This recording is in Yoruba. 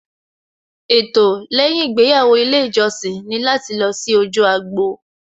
Ètò lẹ́yìn ìgbéyàwó ilé ìjọsìn ni láti lọ sí ojú agbo